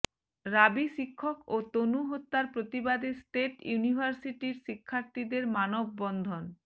রাবি শিক্ষক ও তনু হত্যার প্রতিবাদে স্টেট ইউনির্ভাসিটির শিক্ষার্থীদের মানববন্ধন